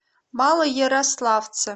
малоярославце